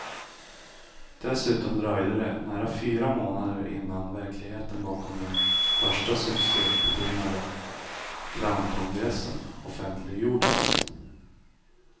Dessutom dröjde det nära fyra månader innan verkligheten bakom den först succebetonade clownkongressen offentliggjordes.